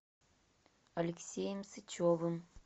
алексеем сычевым